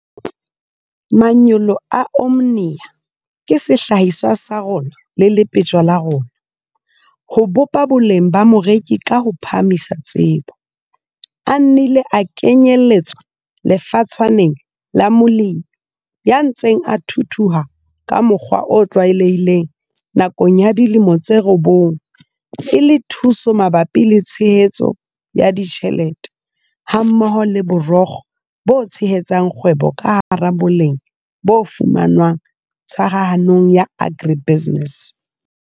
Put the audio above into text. Manyolo a Omnia ka sehlahiswa sa rona le lepetjo la rona, "Ho bopa boleng ba moreki ka ho phahamisa tsebo" a nnile a kenyelletswa lefatshwaneng la molemi ya ntseng a thuthuha ka mokgwa o tlwaelehileng nakong ya dilemo tse robong e le thuso mabapi le tshehetso ya ditjhelete hammoho le borokgo bo tshehetsang kgwebo ka hara boleng bo fumanwang tshwarahanong ya agribusiness.